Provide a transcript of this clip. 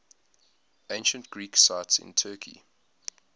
ancient greek sites in turkey